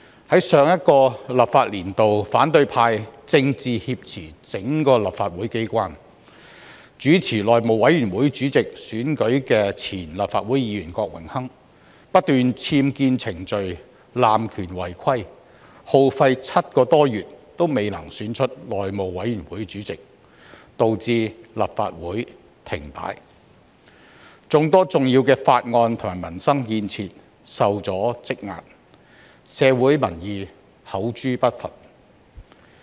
在上一個立法年度，反對派政治挾持整個立法會機關，主持內務委員會主席選舉的前議員郭榮鏗不斷僭建程序，濫權違規，耗費7個多月都未能選出內會主席，導致立法會停擺，眾多重要的法案及民生建設受阻積壓，社會民意口誅筆伐。